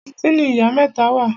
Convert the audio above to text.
Ibo ni kàńtìnì Ìyá mẹ́ta wà?